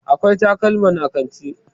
akwai takalman a kanti